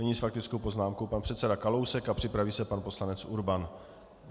Nyní s faktickou poznámkou pan předseda Kalousek a připraví se pan poslanec Urban.